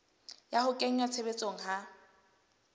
ya ho kenngwa tshebetsong ha